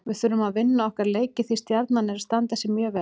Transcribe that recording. Við þurfum að vinna okkar leiki því Stjarnan er að standa sig mjög vel.